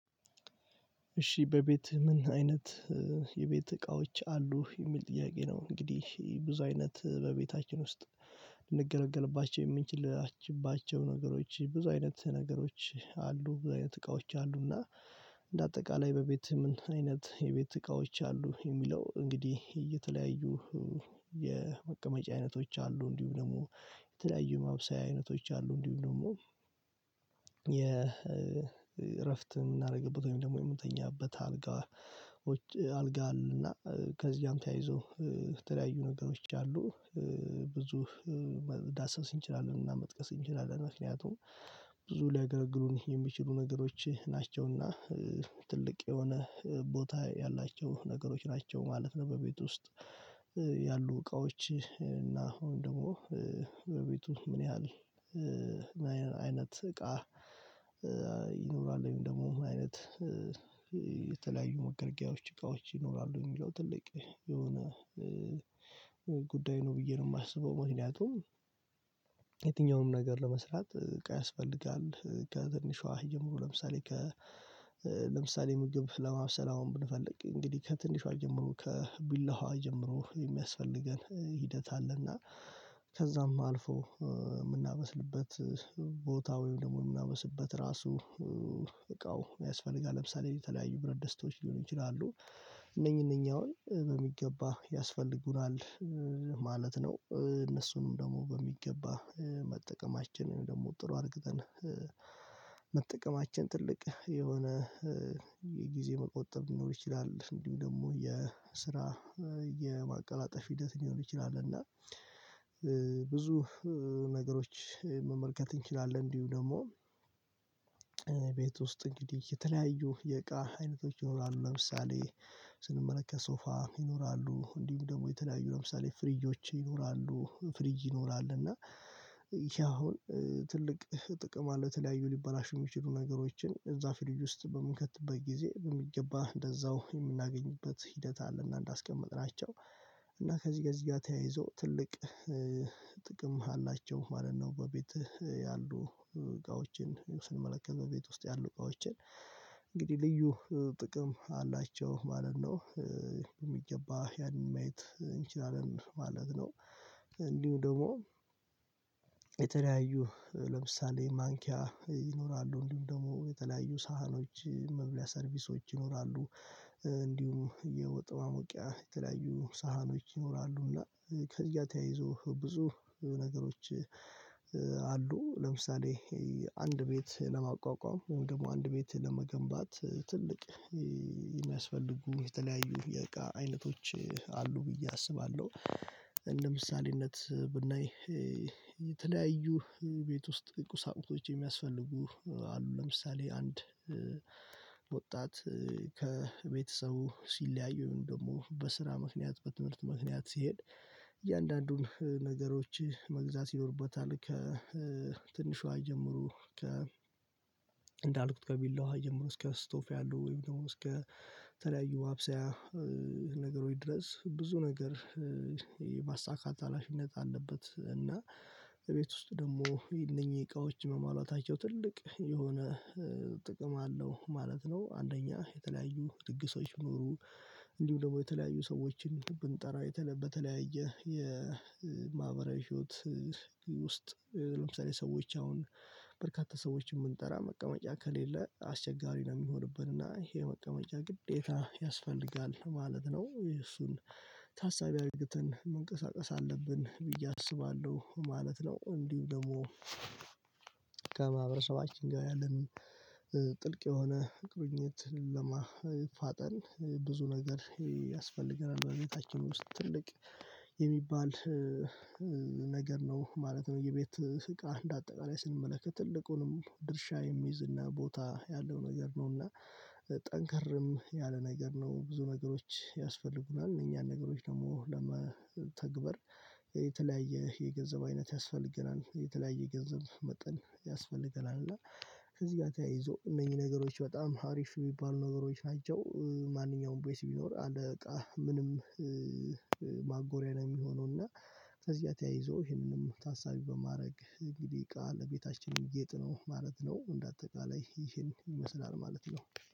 እሺ በቤት ምን አይነት የቤት እቃዎች አሉ የሚል ጥያቄ ነው። እንግዲህ ብዙ አይነት በቤታችን ውስጥ ልንገለግልባቸው የምንችልባቸው ነገሮች ብዙ አይነት ነገሮች አሉ። አይነት እቃዎች አሉና እንደ አጠቃላይ በቤት ምን አይነት የቤት እቃዎች አሉ። የሚለው እንግዲህ የተለያዩ የመቀመጫ አይነቶች አሉ። እንዲሁም ደግሞ የተለያዩ ማብሳያ አይነቶች አሉ። እንዲሁም ደግሞ የእረፍት የምናደርግበት ወይም ደግሞ የምንተኛበት አልጋ አልጋ አለና። ከዚያም ተያይዞ የተለያዩ ነገሮች አሉና ብዙ መዳሰስ እንችላለን። እና መጥቀስ እንችላለን። ምክንያቱም ብዙ ሊያገለግሉን የሚችሉ ነገሮች ናቸውና ትልቅ የሆነ ቦታ ያላቸው ነገሮች ናቸው ማለት ነው። በቤት ውስጥ ያሉ እቃዎች እና አሁን ደግሞ በቤቱ ምን ያህል አይነት እቃ ይኖራል። ወይም ደግሞ አይነት የተለያዩ መገልገያዎች እቃዎች ይኖራሉ። የሚለው ትልቅ የሆነ ጉዳይ ነው ብዬ ነው የማስበው። ምክንያቱም የትኛውንም ነገር ለመስራት እቃ ያስፈልጋል። ከትንሿ ጀምሮ ለምሳሌ ከ ለምሳሌ ምግብ ለማብሰል አሁን ብንፈልግ እንግዲህ ከትንሿ ጀምሮ ከቢላዋ ጀምሮ የሚያስፈልገን ሂደት አለና። ከዛም አልፎ የምናበስልበት ቦታ ወይም ደግሞ የምናበስልበት ራሱ እቃው ያስፈልጋል። ለምሳሌ የተለያዩ ብረት ድስትዎች ሊሆኑ ይችላሉ። እነኚህ እነኛ አሁን በሚገባ ያስፈልጉናል ማለት ነው። እነሱንም ደግሞ በሚገባ መጠቀማችንን ደግሞ ጥሩ አርግተን መጠቀማችን ትልቅ የሆነ የጊዜ መቆጠብ ሊኖር ይችላል። እንዲሁ ደግሞ የስራ የማቀላጠፍ ሂደት ሊሆን ይችላል። እና ብዙ ነገሮች መመልከት እንችላለን። እንዲሁ ደግሞ ቤት ውስጥ እንግዲህ የተለያዩ የእቃ አይነቶች ይኖራሉ። ለምሳሌ ስንመለከት ሶፋ ይኖራሉ እንዲሁም ደግሞ የተለያዩ ለምሳሌ ፍሪጆች ይኖራሉ ፍሪጅ ይኖራል። እና ይሄ አሁን ትልቅ ጥቅም አለው። የተለያዩ ሊባላሽ የሚችሉ ነገሮችን እዛ ፍሪጅ ውስጥ በምንከትበት ጊዜ በሚገባ እንደዛው የምናገኝበት ሂደት አለና። እንዳስቀመጥናቸው እና ከዚህ ከዚህ ጋር ተያይዞ ትልቅ ጥቅም አላቸው ማለት ነው። በቤት ያሉ እቃዎችን ስንመለከት በቤት ውስጥ ያሉ እቃዎችን እንግዲህ ልዩ ጥቅም አላቸው ማለት ነው። የሚገባ ያን ማየት እንችላለን ማለት ነው። እንዲሁ ደግሞ የተለያዩ ለምሳሌ ማንኪያ ይኖራሉ እንዲሁ ደግሞ የተለያዩ ሳህኖች መብልያ ሰርቪሶች ይኖራሉ። እንዲሁም የወጥ ማሞቂያ የተለያዩ ሳህኖች ይኖራሉና። ከዚያ ተያይዞ ብዙ ነገሮች አሉ። ለምሳሌ አንድ ቤት ለማቋቋም ደግሞ አንድ ቤት ለመገንባት ትልቅ የሚያስፈልጉ የተለያዩ የቃ አይነቶች አሉ ብዬ አስባለሁ። እንደምሳሌነት ብናይ የተለያዩ ቤት ውስጥ ቁሳቁሶች የሚያስፈልጉ አሉ። ለምሳሌ አንድ ወጣት ከቤተሰቡ ሲለያዩ ወይም ደግሞ በስራ ምክንያት በትምህርት ምክንያት ሲሄድ እያንዳንዱን ነገሮች መግዛት ይኖርበታል። ከትንሿ ጀምሮ ከ እንዳልኩት ከቢላዋ ጀምሮ እስከ ስቶቭ ያሉ ወይም ደግሞ እስከ ተለያዩ አብሳያ ነገሮች ድረስ ብዙ ነገር የማሳካት ሀላፍነት አለበት። እና በቤት ውስጥ ደግሞ የነኚህ እቃዎች መሟላታቸው ትልቅ የሆነ ጥቅም አለው ማለት ነው። አንደኛ የተለያዩ ድግሶች ቢኖሩ እንዲሁ ደግሞ የተለያዩ ሰዎችን ብንጠራ በተለያየ የማህበራዊ ህይወት ውስጥ ለምሳሌ ሰዎች አሁን በርካታ ሰዎችን ብንጠራ መቀመጫ ከሌለ አስቸጋሪ ነው። የሚሆንብን እና ይሄ መቀመጫ ግዴታ ያስፈልጋል ማለት ነው። እሱን ታሳቢ አርግተን መንቀሳቀስ አለብን ብዬ አስባለሁ ማለት ነው። እንዲሁ ደግሞ ከማህበረሰባችን ጋር ያለን ጥልቅ የሆነ ቁሪኝት ለማፋጠን ብዙ ነገር ያስፈልገናል። በቤታችን ውስጥ ትልቅ የሚባል ነገር ነው ማለት ነው። የቤት እቃ እንደ አጠቃላይ ስንመለከት ትልቁንም ድርሻ የሚይዝ እና ቦታ ያለው ነገር ነው። እና ጠንከርም ያለ ነገር ነው። ብዙ ነገሮች ያስፈልጉናል እነኚ ነገሮች ደግሞ ለመተግበር የተለያየ የገንዘብ አይነት ያስፈልገናል። የተለያየ የገንዘብ መጠን ያስፈልገናል። እና ከዚህ ጋር ተያይዞ እነኚ ነገሮች በጣም አሪፍ የሚባሉ ነገሮች ናቸው። ማንኛውም ቦይስ ቢኖር አለ በቃ ምንም ማጎሪያ ነው የሚሆነው። እና ከዚያ ተያይዞ ይሄንን ታሳቢ በማድረግ እንግዲህ እቃ ለቤታችን ገጥ ነው ማለት ነው። እንደ አጠቃላይ ይሄን ይመስላል ማለት ነው።